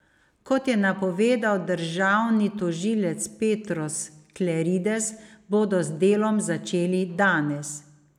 Kot je napovedal državni tožilec Petros Klerides, bodo z delom začeli danes.